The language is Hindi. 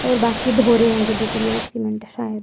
और बाकी ढो रहे होंगे बजरी और सीमेंट शायद।